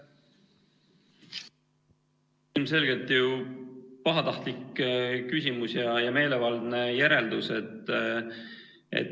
See on ilmselgelt pahatahtlik küsimus ja meelevaldne järeldus.